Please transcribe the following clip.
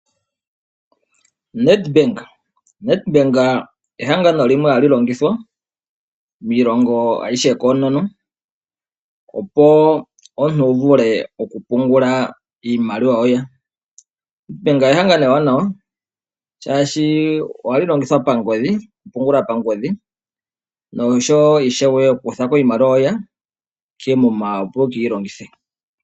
Nedbank ehangano limwe hali longithwa miilongo ayihe koonono, opo omuntu wu vule okupungula iimaliwa yoye. Nedbank ehangano ewanawa, oshoka ohali longithwa pangodhi, ano okupungula pangodhi noshowo ishewe okukutha ko iimaliwa yoye koomuma, opo wu ke yi longithe.